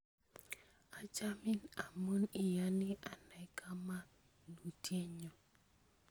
Achamin amun iyoni anai kamanutye nyu.